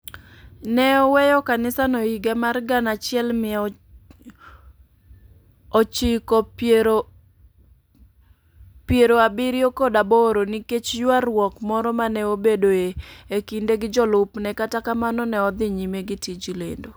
Ne oweyo kanisano e higa mar gana achiel mia ochako pierogi abiriyo kod aboro nikech ywaruok moro ma ne obedoe e kinde gi jolupne, kata kamano, ne odhi nyime gi tij lendo.